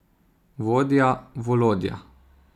Vodja Volodja!